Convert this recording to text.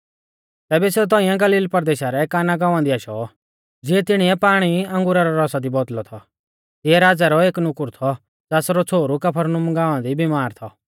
तैबै सेऊ तौंइऐ गलील परदेशा रै काना गाँवा दी आशौ ज़िऐ तिणीऐ पाणी अंगुरा रौ रौसा दी बौदल़ौ थौ तिऐ राज़ै रौ एक नुकुर थौ ज़ासरौ छ़ोहरु कफरनहूम गाँवा दी बीमार थौ